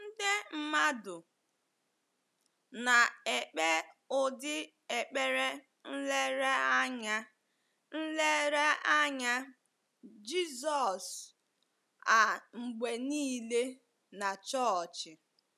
Ọtụtụ nde mmadụ na-ekpe ụdị ekpere nlereanya nlereanya Jizọs a mgbe nile na chọọchị.